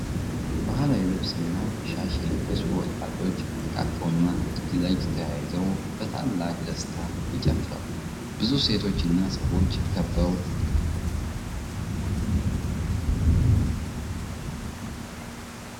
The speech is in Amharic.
ባህላዊ ልብስና ሻሽ የለበሱ ወጣቶች ተቃቅፈውና እጅ ለእጅ ተያይዘው በታላቅ ደስታ ይጨፍራሉ። ብዙ ሴቶችና ሰዎች ከበው ይመለከታሉ። የመሬቱ ላይ ቀይ ምንጣፍ ለበዓሉ ውበት ይጨምራል።